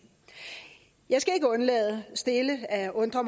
jeg skal ikke undlade stille at undre